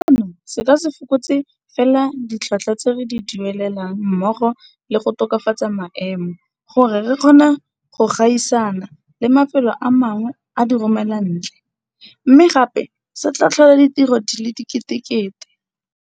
Seno se ka se fokotse fela ditlhotlhwa tse re di duelelang mmogo le go tokafatsa maemo gore re kgone go gaisana le mafelo a mangwe a diromelantle, mme gape se tla tlhola ditiro di le diketekete.